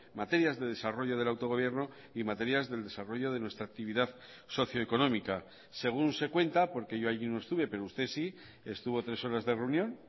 materias de desarrollo del autogobierno y materias del desarrollo de nuestra actividad socioeconómica según se cuenta porque yo allí no estuve pero usted sí estuvo tres horas de reunión